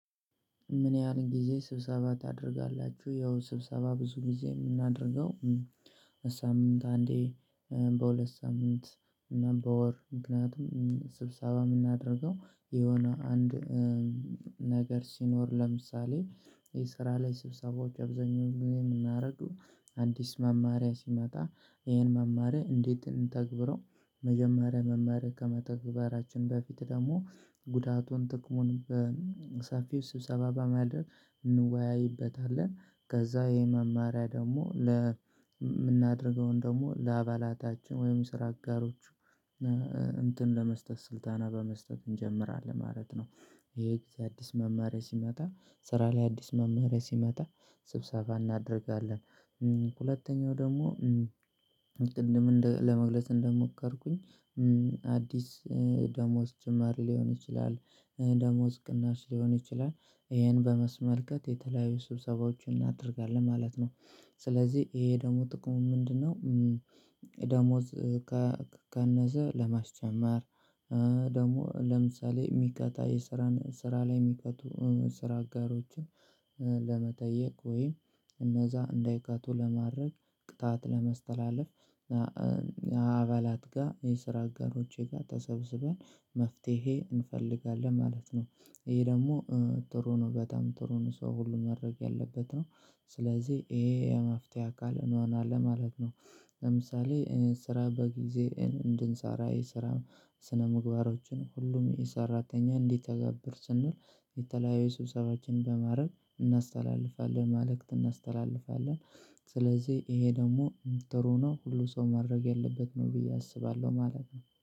ምን ያህል ጊዜ ስብሰባ ታደርጋላችሁ? ያው ስብሰባ ብዙ ጊዜ የምናደርገው ሳምንት አንዴ። በሁለት ሳምንት እና በወር ምክንያቱም ስብሰባ የምናደርገው የሆነ አንድ ነገር ሲኖር ለምሳሌ የስራ ላይ ስብሰባዎች አብዛኛው ጊዜ የምናረገው አንዲስ መመሪያ ሲመጣ ይሄን መመሪያ እንዴት እንተግብረው መጀመሪያ መመሪያ ከመተግበራችን በፊት ደግሞ ጉዳቱን ጥቅሙን በሰፊው ስብሰባ በማድረግ እንወያይበታለን። ከዛ የመመሪያ ደግሞ ለምናደርገውም ደግሞ ለአባላታችን ወይም ስራ አጋሮቹ እንትን ለመስጠት ስልጠና በመስጠት እንጀምራለን ማለት ነው። ይሄ ጊዜ አዲስ መማሪያ ሲመጣ ስራ ላይ አዲስ መማሪያ ሲመጣ ስብሰባ እናደርጋለን። ሁለተኛው ደግሞ ቅድም ለመግለጽ እንደሞከርኩኝ አዲስ ደሞዝ ጭማሪ ሊሆን ይችላል ደሞዝ ቅናሽ ሊሆን ይችላል። ይሄን በማስመልከት የተለያዩ ስብሰባዎችን እናደርጋለን ማለት ነው። ስለዚህ ይሄ ደግሞ ጥቅሙ ምንድነው? ደሞዝ ካነሰ ለማስጨመር ደሞ ለምሳሌ የሚቀታ የስራ ስራ ላይ የሚቀቱ ስራ አጋሮችን ለመጠየቅ ወይም እነዛ እንዳይቃቱ ለማድረግ ቅጣት ለመስተላለፍ አባላት ጋር የስራ አጋሮቼ ጋር ተሰብስበን መፍትሄ እንፈልጋለን። ማለት ነው ይሄ ደግሞ ጥሩ ነው በጣም ጥሩ ሰው ሁሉ ማድረግ ያለበት ነው። ስለዚህ ይሄ የመፍትሄ አካል እንሆናለን ማለት ነው። ለምሳሌ ስራ በጊዜ እንድንሰራ የስራ ስነምግባሮችን ሁሉም ሰራተኛ እንዲተገብር ስንል የተለያዩ የስብሰባዎችን በማድረግ እናስተላልፋለን መልእክት እናስተላልፋለን። ስለዚህ ይሄ ደግሞ ጥሩ ነው ሁሉ ሰው ማድረግ የለበትም ነው ብዬ አስባለሁ ማለት ነው